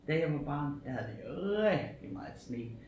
Da jeg var barn der havde vi rigtig meget sne